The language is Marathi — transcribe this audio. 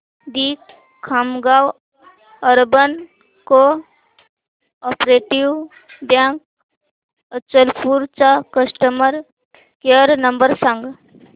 दि Khamgaon urban cooperative bank Achalpur चा कस्टमर केअर नंबर सांग